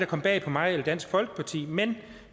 kom bag på mig eller dansk folkeparti men